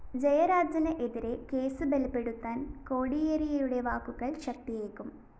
ജയരാജന് എതിരെ കേസ് ബലപ്പെടുത്താന്‍ കോടിയേരിയുടെ വാക്കുകള്‍ ശക്തിയേകും